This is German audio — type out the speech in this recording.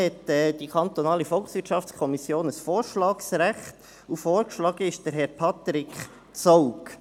Hier hat die kantonale Volkswirtschaftskommission ein Vorschlagsrecht, und vorgeschlagen ist Herr Patrik Zaugg.